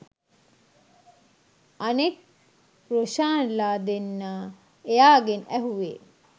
අනෙක් රොෂාන්ලා දෙන්නා එයාගෙන් ඇහුවෙ